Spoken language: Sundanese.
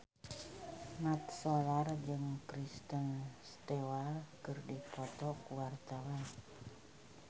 Mat Solar jeung Kristen Stewart keur dipoto ku wartawan